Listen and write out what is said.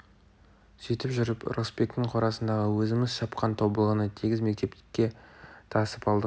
сөйтіп жүріп ырысбектің қорасындағы өзіміз шапқан тобылғыны тегіс мектепке тасып алдық